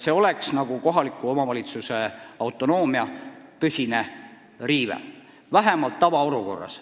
See oleks kohaliku omavalitsuse autonoomia tõsine riive, vähemalt tavaolukorras.